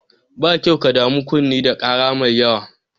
Ba kyau ka damu kunne da ƙara mai yawa.